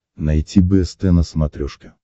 найти бст на смотрешке